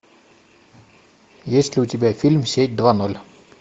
есть ли у тебя фильм сеть два ноль